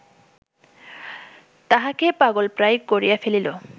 তাহাকে পাগলপ্রায় করিয়া ফেলিল